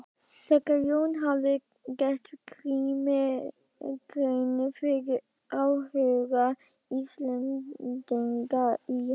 Þegar Jón hafði gert Grími grein fyrir áhuga Íslendinga í